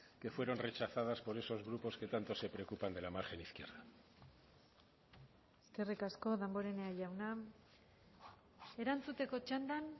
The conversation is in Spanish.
que fueron rechazadas por esos grupos que tanto se preocupan de la margen izquierda eskerrik asko damborenea jauna erantzuteko txandan